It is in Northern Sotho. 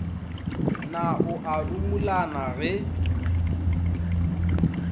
na o a rumolana ge